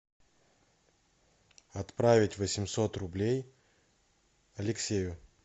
отправить восемьсот рублей алексею